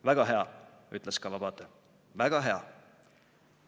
"Väga hea," ütles Kawabata, "väga hea.